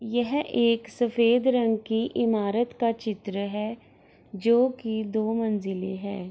यह एक सफ़ेद रंग कि ईमारत की चित्र है जो की दो मंजिले हैं ।